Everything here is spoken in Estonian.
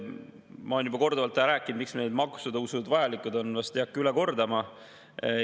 Ma olen juba korduvalt rääkinud, miks need maksutõusud vajalikud on, vast ei hakka üle kordama.